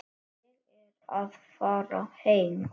Ég er að fara heim.